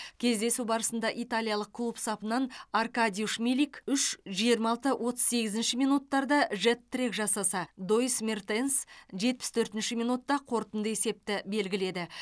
кездесу барысында италиялық клуб сапынан аркадиуш милик үш жиырма алты отыз сегізінші минуттарда жет трик жасаса доис мертенс жетпіс төртінші минутта қорытынды есепті белгіледі